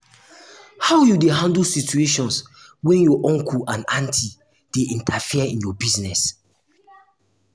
how you dey handle situation when your uncle or auntie dey interfere in your business?